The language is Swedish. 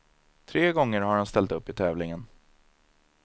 Tre gånger har han ställt upp i tävlingen.